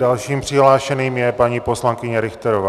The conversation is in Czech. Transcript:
Dalším přihlášeným je paní poslankyně Richterová.